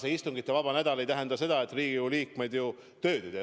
Ega istungivaba nädal ei tähenda seda, et Riigikogu liikmed tööd ei tee.